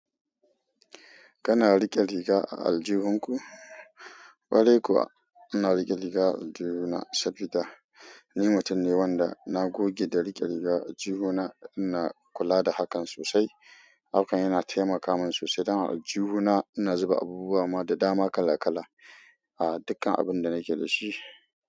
Kana riƙe riga a aljihun ku? Ƙwarai kuwa ina riƙe riga a aljihu na saboda ni mutum ne wanda na goge da riƙe riga a aljihu na, ina kula da hakan sosai. Hakan yana taimaka min sosai don a aljihu na ina zuba abubuwa da dama kala kala. A dukkan abun da nake da shi.